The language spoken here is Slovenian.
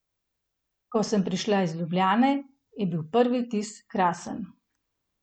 Ko sem prišla iz Ljubljane, je bil prvi vtis krasen.